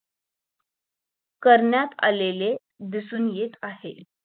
करण्यात आलेले दिसून येत आहे